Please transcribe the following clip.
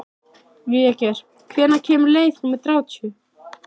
Végeir, hvenær kemur leið númer þrjátíu?